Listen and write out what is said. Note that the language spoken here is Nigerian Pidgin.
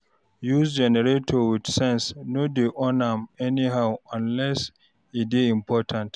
use generator wit sense no dey on am anyhow unless e dey important